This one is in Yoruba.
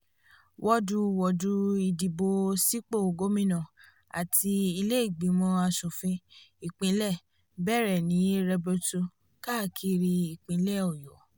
wooduwoodu idìbò sípò gómìnà àti ilé ìgbìmọ̀ asòfin ìpínlẹ̀ bẹ̀rẹ̀ ní rẹbutu káàkiri ìpínlẹ̀ ọyọ́